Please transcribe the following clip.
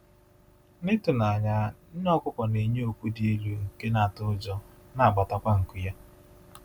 N’ịtụ n’anya, nne ọkụkọ na-enye oku dị elu nke na-atọ ụjọ, na-agbatakwa nku ya.